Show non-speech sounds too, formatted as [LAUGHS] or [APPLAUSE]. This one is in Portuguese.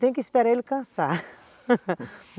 Tem que esperar ele cansar [LAUGHS]